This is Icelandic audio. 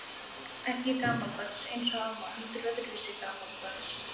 Ekki gamaldags eins og amma, heldur öðruvísi gamaldags.